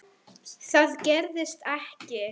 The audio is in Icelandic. Það gerðist ekki.